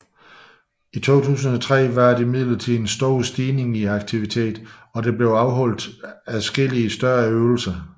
I 2003 var der imidlertid en stor stigning i aktiviteten og der blev afholdt adskillige større øvelser